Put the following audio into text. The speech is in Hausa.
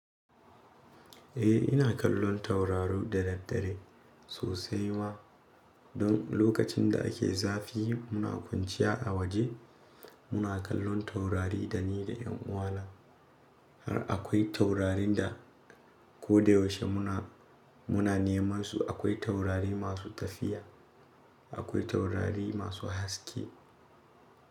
Eh ina kallon tauraru da daddare sosai ma don lokacin da ake zafi muna kwanciya a waje muna kallon taurari dani da yan uwana har akwai taurarin da ko da yaushe muna, muna neman su akwai taurari masu tafiya akwai taurari masu haske.